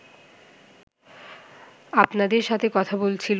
আপনাদের সাথে কথা বলছি